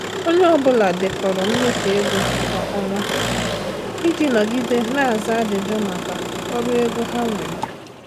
Onye ọ bụla dekọrọ mmefu ego kwa ọnwa iji nọgide na-aza ajụjụ maka ọrụ ego ha nwere.